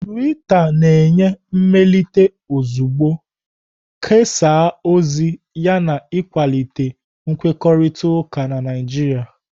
Tuita na-enye mmelite ozugbo, kesaa ozi yana ịkwalite nkwukọrịta na Naijiria.